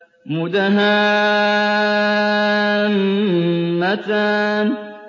مُدْهَامَّتَانِ